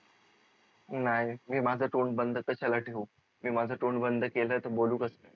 नाही मी माझ तोंड बंद कशाला ठेऊ मी माझ तोंड बंद केल त बोलू कस?